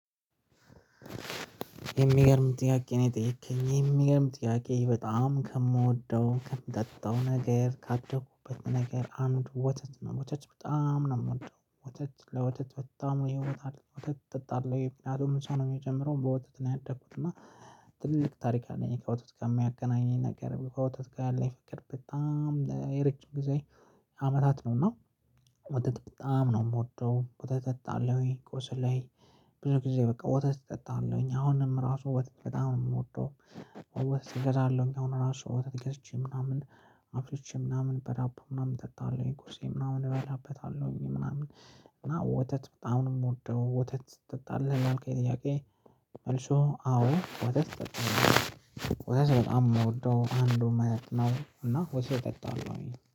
የሚገርም ጥያቄ ነው። የጠየከኝ የሚገርም ጥያቄ በጣም ከምወደው ከምጠጣው ነገር ካደኩበት ነገር አንዱ ወተት ነው። ወተት በጣም ነው ምወደው። ወተት ለወተት በጣም ነው ይወጣል። ወተት ጠጣለው ፒናዶም ሰው ነው የሚጀምረው በወቸት ነው። ያደኩት እና ትልቅ ታሪክ አለኝ። ከወተት ጋር ሚያገናኘኝ ነገር ከወተት ጋር ያለኝ ፍቅር በጣም የረጅም ጊዜ አመታት ነው። ና ወተት በጣም ነው ምወደው ወተት ጠጣለው። ቁስ ላይ ብዙ ጊዜ በቃ ወተት እጠጣለሁኝ አሁንም ራሱ ወተት በጣም ነው የምወደው። ወተት እገዛለሁኝ አሁን ራሱ ወተት ገዝቼ ምናምን አፍልቼ ምናምን በዳቦ ምናምን እጠጣለሁኝ ቁርሴ ምናምን እበላበታለሁኝ ምናምን። እና ወተት በጣም ነው ምወደው። ወተት ትጠጣለህ ያልከኝ ጥያቄ? መልሱ አዎ ወተት እጠጣለሁኝ። ወተት በጣም እምወደው አንዱን መጠጥ ነው። እና ወተት እጠጣለሁ ኝ